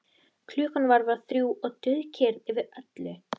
Ágrip af sögu tannlækninga á Íslandi.